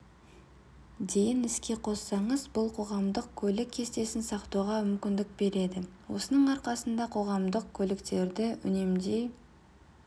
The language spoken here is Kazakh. дейін іске қоссаңыз бұл қоғамдық көлік кестесін сақтауға мүмкіндік береді осының арқасында қоғамдық көліктерді үнемдей